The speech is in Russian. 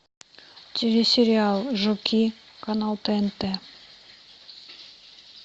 телесериал жуки канал тнт